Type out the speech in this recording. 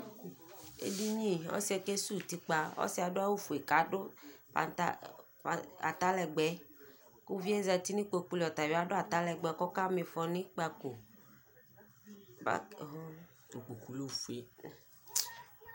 Edini Ɔsɩ yɛ ke suwu utikpa Ɔsɩ yɛ adʋ awʋ fue k'adʋ atalɛgbɛ kʋ uvi yɛ zati nʋ ikpoku li atabɩ adʋ atalɛgbɛ kʋ aka ma ifɔ n'ikpakoba k oɣooo, ikpoku lɛ ofue